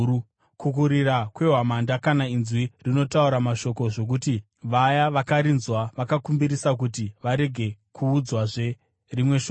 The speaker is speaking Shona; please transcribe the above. kukurira kwehwamanda kana inzwi rinotaura mashoko zvokuti vaya vakarinzwa vakakumbirisa kuti varege kuudzwazve rimwe shoko,